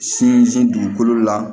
Sinsin dugukolo la